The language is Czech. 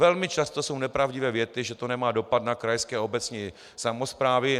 Velmi často jsou nepravdivé věty, že to nemá dopad na krajské a obecní samosprávy.